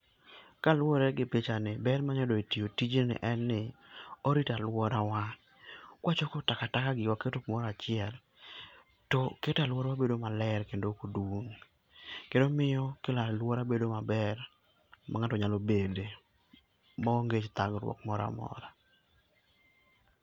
Kaluore gi picha ni, ber ma anya yudo e tiyo tijni en ni, orito aluora wa. Ka wachoko takataka gi waketo kumoro achiel, to keto aluora wa bedo maler kendo ok dum kendo miyo kelo aluora bedo ma ber ma ng'ato nyalo bede ma onge thagruok moro amora.